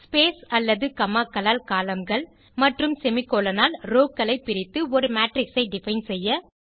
space அல்லது comma க்களால் columnகள் மற்றும் செமிகோலன் ஆல் ரோவ் களை பிரித்து ஒரு மேட்ரிக்ஸ் ஐ டிஃபைன் செய்ய